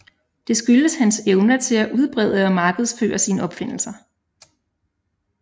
Det skyldes hans evner til at udbrede og markedsføre sine opfindelser